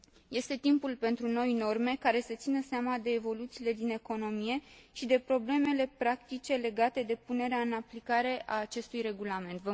Este timpul pentru noi norme, care să țină seama de evoluțiile din economie și de problemele practice legate de punerea în aplicare a acestui regulament.